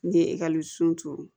N'i ye ekɔliso turu